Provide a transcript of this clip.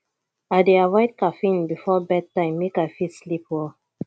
i dey avoid caffeine before bedtime make i fit sleep well